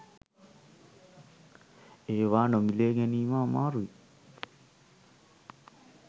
ඒවා නොමිලේ ගැනීම අමාරුයි